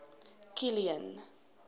kilian